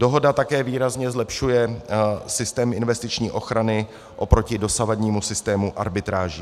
Dohoda také výrazně zlepšuje systém investiční ochrany oproti dosavadnímu systému arbitráží.